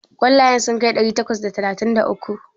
Ƙwallayen sun kai ɗari takwas da talatin da uku?